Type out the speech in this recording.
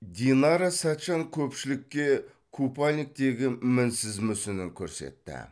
динара сәтжан көпшілікке купальниктегі мінсіз мүсінін көрсетті